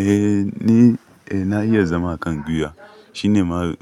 Eh ni, eh na iya zama a kan guiwa. Shine ma